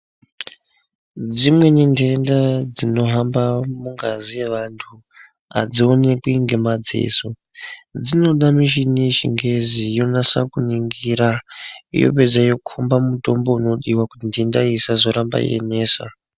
Dzimweni ntenda dzinohamba, mungazi yevanthu, adzionekwi ngemaziso. Dzinoda mishini yechingezi, inonasa kuningira, yopedza yokhomba mutombo unodiwa, kuti ntenda iyi isazoramba yeinesa.